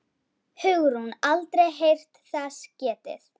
Hugrún: Aldrei heyrt þess getið?